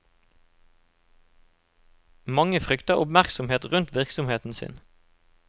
Mange frykter oppmerksomhet rundt virksomheten sin.